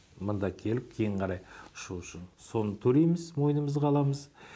мында келіп кейін қарай ұшу үшін соны төлейміз мойнымызға аламыз